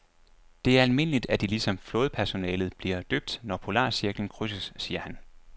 Det er almindeligt, at de ligesom flådepersonalet bliver døbt, når polarcirklen krydses, siger han.